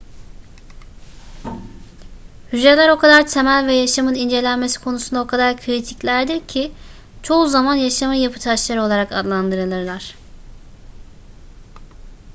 hücreler o kadar temel ve yaşamın incelenmesi konusunda o kadar kritiklerdir ki çoğu zaman yaşamın yapıtaşları olarak adlandırılırlar